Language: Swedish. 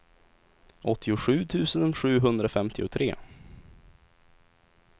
åttiosju tusen sjuhundrafemtiotre